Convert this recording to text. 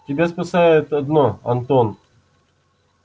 тебя спасает одно антон